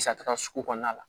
Sata sugu kɔnɔna la